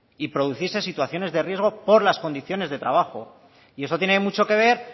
y producirse situaciones de riesgo por las condiciones de trabajo y esto tiene mucho que ver